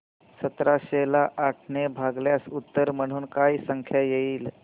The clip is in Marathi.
सतराशे ला आठ ने भागल्यास उत्तर म्हणून काय संख्या येईल